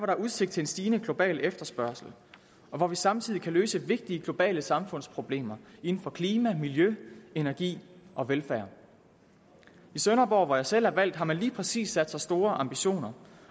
er udsigt til en stigende global efterspørgsel og hvor vi samtidig kan løse vigtige globale samfundsproblemer inden for klima miljø energi og velfærd i sønderborg hvor jeg selv er valgt har man lige præcis sat sig store ambitioner